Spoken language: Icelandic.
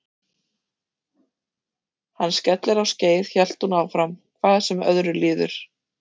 Hann skellir á skeið hélt hún áfram, hvað sem öðru líður.